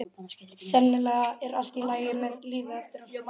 Sennilega er allt í lagi með lífið eftir allt saman.